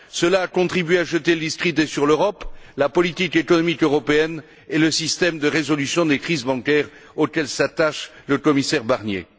Cela a contribué à jeter le discrédit sur l'Europe, la politique économique européenne et le système de résolution des crises bancaires auquel s'attache le commissaire Barnier.